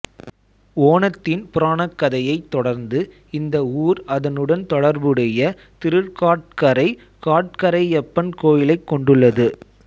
ஓணத்தின் புராணக்கதையைத் தொடர்ந்து இந்த ஊர் அதனுடன் தொடர்புடைய திருக்காட்கரை காட்கரையப்பன் கோயிலைக் கொண்டுள்ளது